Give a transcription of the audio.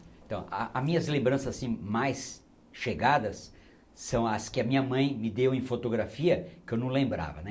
Então, ah as minhas lembranças assim mais chegadas são as que a minha mãe me deu em fotografia, que eu não lembrava, né?